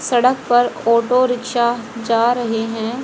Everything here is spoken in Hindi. सड़क पर ऑटो रिक्शा जा रहे हैं।